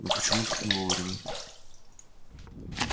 ну почему так не вовремя